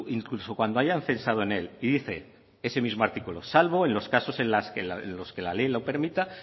incluso cuando hayan pensado en él y dice ese mismo artículo salvo en los casos en los que la ley lo permita